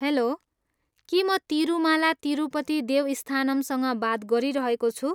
Hello, के म तिरुमाला तिरुपति देवस्थानमसँग बात गरिरहेको छु?